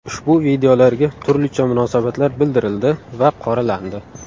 Ushbu videolarga turlicha munosabatlar bildirildi va qoralandi.